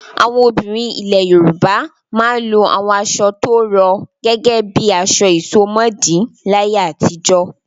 Àwọn obìnrin ilẹ̀ Yorùbá máa ń lo àwọn aṣọ tó rọ̀ gẹ́gẹ́ bí aṣọ ìsomọ́ọ̀dí láyé àtijọ́.